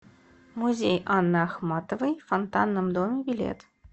музей анны ахматовой в фонтанном доме билет